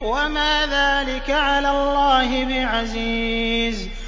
وَمَا ذَٰلِكَ عَلَى اللَّهِ بِعَزِيزٍ